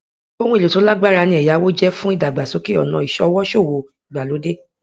ohun èèlò tí ó lágbára ni ẹyáwó jẹ fún ìdàgbàsókè ọnà ìṣọwọ ṣòwò ìgbàlódé